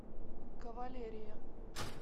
кавалерия